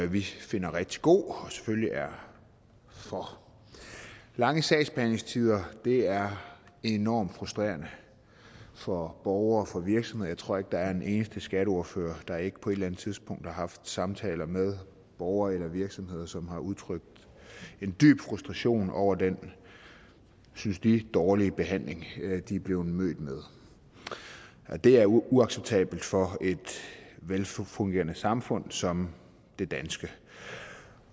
vi finder rigtig god og selvfølgelig er for lange sagsbehandlingstider er enormt frustrerende for borgere og for virksomheder jeg tror ikke der er en eneste skatteordfører der ikke på et eller andet tidspunkt har haft samtaler med borgere eller virksomheder som har udtrykt en dyb frustration over den synes de dårlige behandling de er blevet mødt med det er uacceptabelt for et velfungerende samfund som det danske